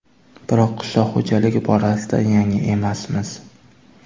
Biroq qishloq xo‘jaligi borasida yangi emasmiz.